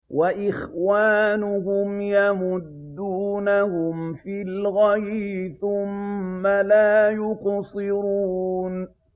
وَإِخْوَانُهُمْ يَمُدُّونَهُمْ فِي الْغَيِّ ثُمَّ لَا يُقْصِرُونَ